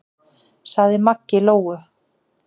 sagði Maggi Lóu.